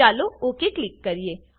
ચાલો okay click કરીએ